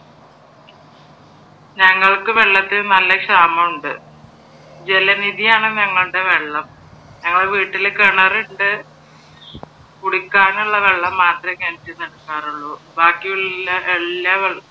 ഞങ്ങൾക്ക് വെള്ളത്തിന് നല്ല ക്ഷാമമുണ്ട്. ജലനിധി ആണ് ഞങ്ങളുടെ വെള്ളം. ഞങ്ങളുടെ വീട്ടിൽ കിണറുണ്ട് കുടിക്കാനുള്ള വെള്ളം മാത്രമേ കിണറ്റിൽനിന്നു എടുക്കാറുള്ളു ബാക്കിയുള്ള എല്ലാ